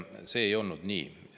See ei olnud nii.